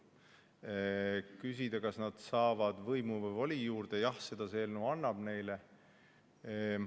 Kui küsida, kas nad saavad võimu või voli juurde, siis jah, seda see eelnõu neile annab.